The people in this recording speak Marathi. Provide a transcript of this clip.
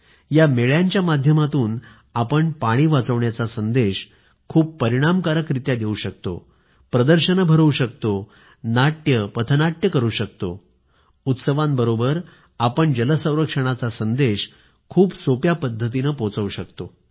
या जत्रांमध्ये आपण पाणी वाचवण्याचा संदेश खूप परिणामकारक रित्या देऊ शकतो प्रदर्शनं भरवू शकतो नुक्कड नाटक करू शकतो उत्सवांबरोबर आपण जल संरक्षणाचा संदेश खूप सोप्या पद्धतीनं पोहचवू शकतो